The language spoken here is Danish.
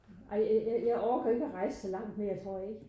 Ej jeg jeg orker ikke at rejse sig langt mere tror jeg ikke